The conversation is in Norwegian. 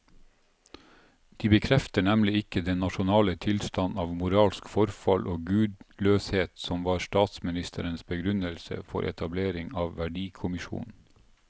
De bekrefter nemlig ikke den nasjonale tilstand av moralsk forfall og gudløshet som var statsministerens begrunnelse for etableringen av verdikommisjonen.